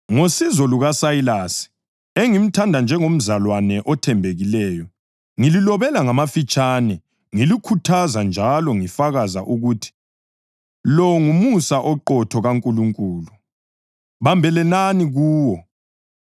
Ngosizo lukaSayilasi, engimthanda njengomzalwane othembekileyo, ngililobele ngamafitshane ngilikhuthaza njalo ngifakaza ukuthi lo ngumusa oqotho kaNkulunkulu. Bambelelani kuwo.